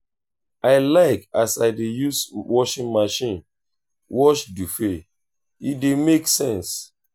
i like as i dey use washing machine wash duvet e dey make sense.